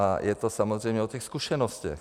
A je to samozřejmě o těch zkušenostech.